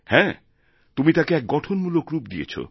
হ্যাঁ তুমি তাকে এক গঠনমূলক রূপ দিয়েছ